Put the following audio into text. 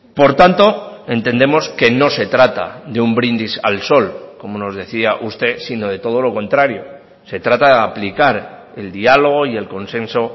por tanto entendemos que no se trata de un brindis al sol como nos decía usted sino de todo lo contrario se trata de aplicar el diálogo y el consenso